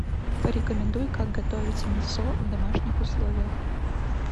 порекомендуй как готовить мисо в домашних условиях